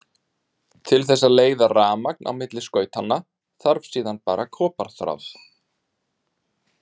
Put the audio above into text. Til þess að leiða rafmagn á milli skautanna þarf síðan bara koparþráð.